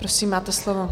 Prosím, máte slovo.